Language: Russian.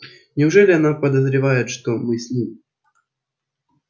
неужели она подозревает что мы с ним